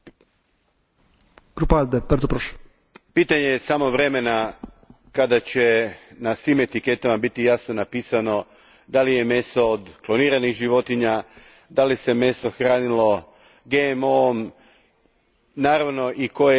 Gospodine predsjedniče, pitanje je samo vremena kada će na svim etiketama biti jasno napisano da li je meso od kloniranih životinja, da li se meso hranilo GMO om i naravno, koja je zemlja porijekla.